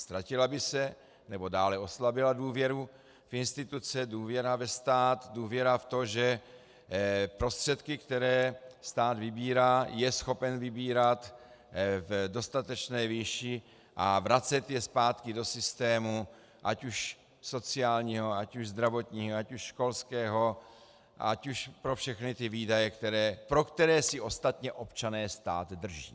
Ztratila by se, nebo dále oslabila důvěra v instituce, důvěra ve stát, důvěra v to, že prostředky, které stát vybírá, je schopen vybírat v dostatečné výši a vracet je zpátky do systému, ať už sociálního, ať už zdravotního, ať už školského, ať už pro všechny ty výdaje, pro které si ostatně občané stát drží.